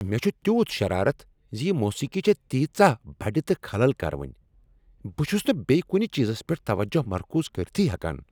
مےٚ چھ تیوٗت شرارت ز یہ موسیقی چھےٚ تیژاہ بڈِ تہٕ خلل کروٕنۍ۔ بہٕ چھس نہٕ بیٚیہ کنہٕ چیزس پیٹھ توجہ مرکوز کرتھٕے ہیکان۔